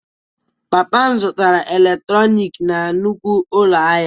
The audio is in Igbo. Papa m zụtara eletrọnịkị na nnukwu ụlọ ahịa